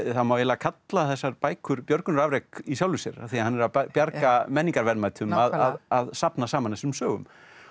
það má eiginlega kalla þessar bækur björgunarafrek í sjálfu sér af því hann er að bjarga menningarverðmætum að safna saman þessum sögum